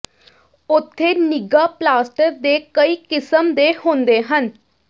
ਉੱਥੇ ਨਿੱਘਾ ਪਲਾਸਟਰ ਦੇ ਕਈ ਕਿਸਮ ਦੇ ਹੁੰਦੇ ਹਨ